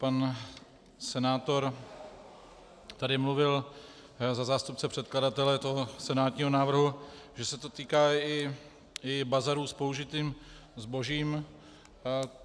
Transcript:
Pan senátor tady mluvil za zástupce předkladatele toho senátního návrhu, že se to týká i bazarů s použitým zbožím.